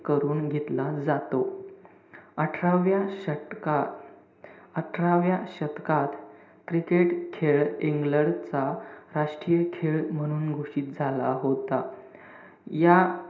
करून घेतला जातो. अठराव्या शतकात, अठराव्या शतकात, cricket खेळ इंग्लंडचा राष्ट्रीय खेळ म्हणून घोषित झाला होता. या,